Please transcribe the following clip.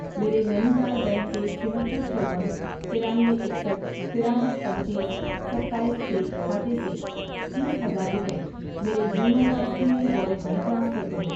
میرے Nainital bank کے چھہتر، چون، ترانوے، اکسسٹھ ،ترانوے، پنچیس، ستایس، چھ کھاتے سے تیس ہزار روپے میرے YONO S B I wallet میں ٹرانسفر کرو